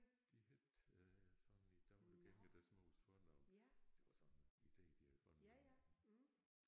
De hed øh sådan i daglig gang deres mors fornavn det var sådan ide de havde fundet